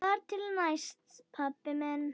Þar til næst, pabbi minn.